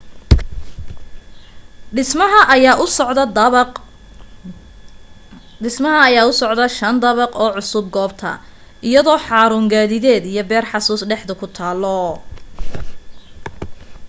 dhismaha ayaa u socdo shan dabaq oo cusub goobta iyadoo xaruun gaadideed iyo beer xusuus dhexda ku taalo